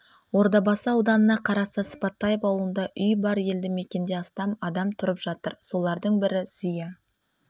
ордабасы ауданына қарасты сыпатаев ауылында үй бар елді мекенде астам адам тұрып жатыр солардың бірі зия